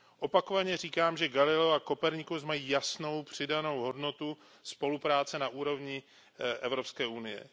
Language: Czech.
Opakovaně říkám, že Galileo a Copernicus mají jasnou přidanou hodnotou spolupráce na úrovni Evropské unie.